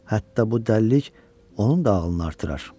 Hətta bu dəlilik onun da ağlını artırar.